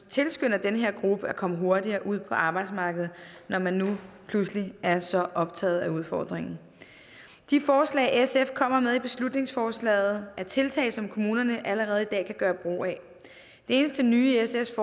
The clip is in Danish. tilskynder den her gruppe til at komme hurtigere ud på arbejdsmarkedet når man nu pludselig er så optaget af udfordringen de forslag sf kommer med i beslutningsforslaget er tiltag som kommunerne allerede i dag kan gøre brug af det eneste nye i sfs